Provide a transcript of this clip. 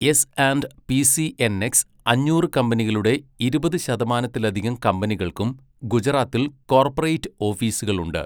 S and P CNX അഞ്ഞൂറ് കമ്പനികളുടെ ഇരുപത് ശതമാനത്തിലധികം കമ്പനികൾക്കും ഗുജറാത്തിൽ കോർപ്പറേറ്റ് ഓഫീസുകളുണ്ട്.